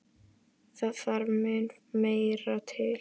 Það þarf mun meira til.